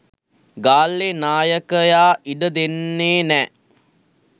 ගාල්ලේ නායකයා ඉඩ දෙන්නේ නෑ.